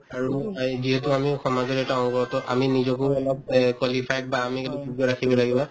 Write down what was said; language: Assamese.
আৰুনো যিহেতু আমিও সমাজৰ এটা অংগ to আমি নিজকো অলপ এই qualified বা ৰাখিব লাগিব